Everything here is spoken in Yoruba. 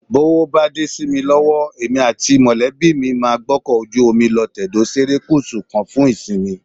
Bówó bá dé sí mi lọ́wọ́, èmi àti mọ̀lẹ́bí mi máa gbọ́kọ̀ ojú omi lọ tẹ̀dó serékùsù kan fún ìsinmi